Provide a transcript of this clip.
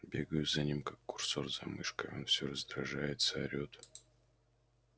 бегаю за ним как курсор за мышкой а он все раздражается орет